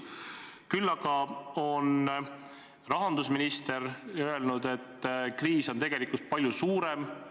Küll aga on rahandusminister öelnud, et kriis on tegelikult palju suurem.